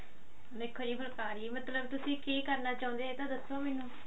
ਦੇਖੋ ਜੀ ਫੁੱਲਕਾਰੀ ਮਤਲਬ ਤੁਸੀਂ ਕਿ ਕਰਨਾ ਚਾਹੁੰਦੇ ਓ ਇਹ ਤਾਂ ਦੱਸੋ ਮੈਨੂੰ